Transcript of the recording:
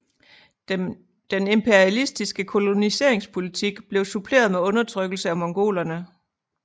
Den imperialistiske koloniseringspolitik blev suppleret med undertrykkelse af mongolerne